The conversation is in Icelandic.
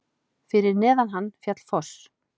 Fyrir neðan hann féll foss.